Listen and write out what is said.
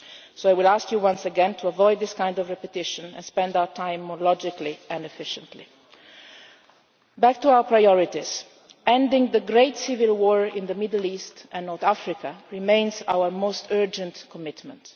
So I would ask you once again to avoid this kind of repetition, and spend our time more logically and efficiently. Back to our priorities ending the great civil war in the Middle East and North Africa remains our most urgent commitment.